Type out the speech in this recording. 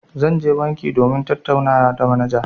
Zan je banki domin tattaunawa da manaja.